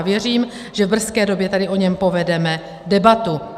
A věřím, že v brzké době tady o něm povedeme debatu.